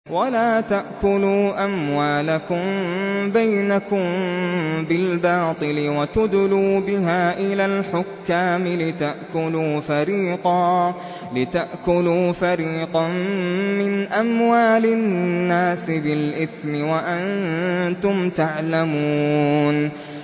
وَلَا تَأْكُلُوا أَمْوَالَكُم بَيْنَكُم بِالْبَاطِلِ وَتُدْلُوا بِهَا إِلَى الْحُكَّامِ لِتَأْكُلُوا فَرِيقًا مِّنْ أَمْوَالِ النَّاسِ بِالْإِثْمِ وَأَنتُمْ تَعْلَمُونَ